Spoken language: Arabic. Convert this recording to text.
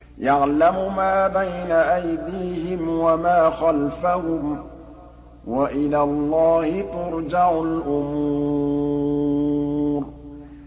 يَعْلَمُ مَا بَيْنَ أَيْدِيهِمْ وَمَا خَلْفَهُمْ ۗ وَإِلَى اللَّهِ تُرْجَعُ الْأُمُورُ